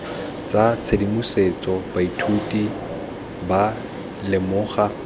tsa tshedimosetso baithuti ba lemoga